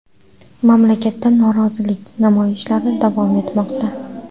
Mamlakatda norozilik namoyishlari davom etmoqda.